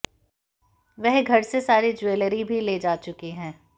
वह घर से सारी ज्वेलरी भी ले जा चुकी है